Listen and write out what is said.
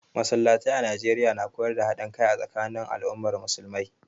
Masallatai a Najeriya na koyar da haɗin kai a tsakanin al'ummar musulmai